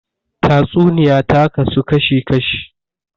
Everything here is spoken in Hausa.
Tatsuniya ta kasu kashi kashi